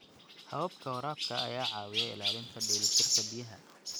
. Hababka waraabka ayaa caawiya ilaalinta dheelitirka biyaha.